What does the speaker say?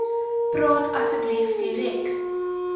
praat asseblief direk